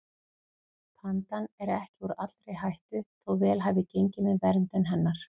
Pandan er ekki úr allri hættu þó vel hafi gengið með verndun hennar.